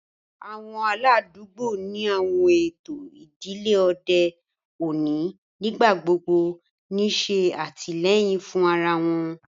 Awọn aladugbo ni awọn eto idile ode oni nigbagbogbo n ṣe atilẹyin fun ara wọn